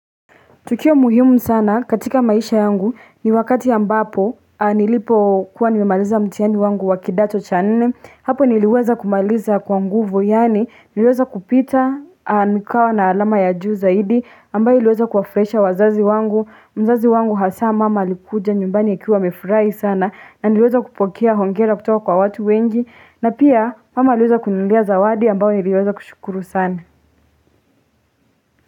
Tukio muhimu sana katika maisha yangu ni wakati ambapo nilipokuwa nimemaliza mtiani wangu wa kidato cha nne hapo niliweza kumaliza kwa nguvu yani niliweza kupita a nikawa na alama ya juu zaidi ambayo iliweza kuwafraisha wazazi wangu mzazi wangu hasa mama alikuja nyumbani akiwa amefurai sana na niliweza kupokea hongera kutoka kwa watu wengi na pia mama aliweza kuninuulia zawadi ambayo niliweza kushukuru sana.